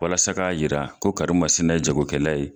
Walasa ka yira ko karimasina ye jago kɛla ye.